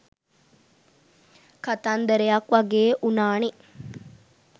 කතන්දරයක් වගේ වුනානෙ